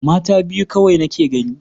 Mata biyu kawai nake gani.